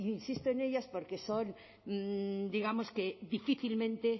insisto en ellas porque son digamos difícilmente